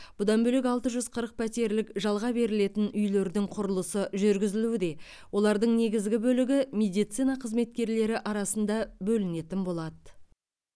бұдан бөлек алты жүз қырық пәтерлік жалға берілетін үйлердің құрылысы жүргізілуде олардың негізгі бөлігі медицина қызметкерлері арасында бөлінетін болады